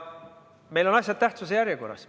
Meil on asjad tähtsuse järjekorras.